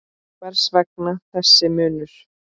Hvers vegna þessi munur?